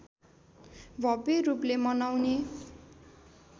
भव्य रूपले मनाउने